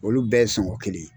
Olu bɛɛ sɔngɔ kelen.